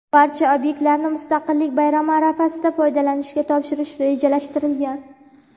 Barcha obyektlarni Mustaqillik bayrami arafasida foydalanishga topshirish rejalashtirilgan.